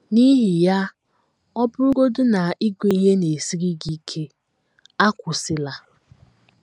N’ihi ya, ọ bụrụgodị na ịgụ ihe na - esiri gị ike, akwụsịla!